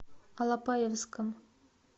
алапаевском